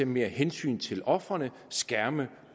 mere hensyn til ofrene skærme